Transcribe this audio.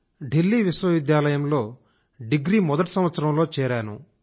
ఢిల్లీ విశ్వవిద్యాలయం లో మొదటి సంవత్సరంలో అడ్మిట్ అయ్యాను